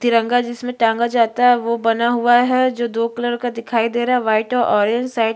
तिरंगा जिसमे टांगा जाता है ओह बना हुआ है जो दो कलर का दिखाई दे रहा है व्हाइट औ ऑरेंज साइड --